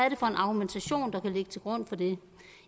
en argumentation der kan ligge til grund for det